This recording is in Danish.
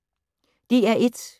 DR1